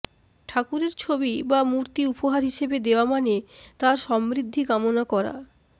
ঠাকুরের ছবি বা মূর্তি উপহার হিসেবে দেওয়া মানে তার সমৃদ্ধি কামনা করা